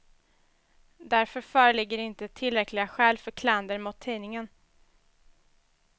Därför föreligger inte tillräckliga skäl för klander mot tidningen.